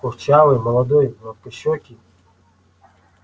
курчавый молодой гладкощёкий